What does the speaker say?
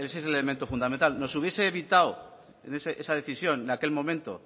es el elemento fundamental nos hubiese evitado esa decisión en aquel momento